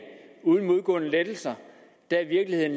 uden modgående lettelser er virkeligheden